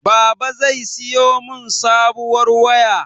Baba zai siyo mun sabuwar waya.